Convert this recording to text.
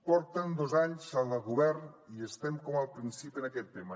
porten dos anys al govern i estem com al principi en aquest tema